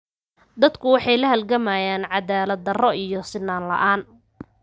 Dadku waxay la halgamayaan cadaalad darro iyo sinnaan la'aan.